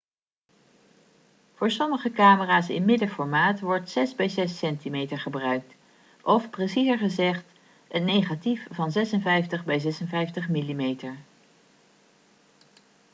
voor sommige camera's in middenformaat wordt 6 bij 6 cm gebruikt of preciezer gezegd een negatief van 56 bij 56 mm